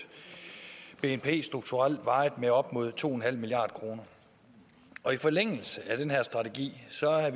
bnp strukturelt med op mod to milliard kr og i forlængelse af den her strategi